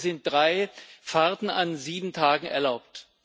Hier sind drei Fahrten an sieben Tagen erlaubt.